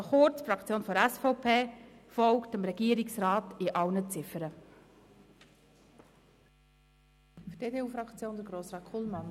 Also kurz: Die Fraktion der SVP folgt dem Regierungsrat bei allen Ziffern.